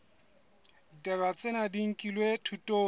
ditaba tsena di nkilwe thutong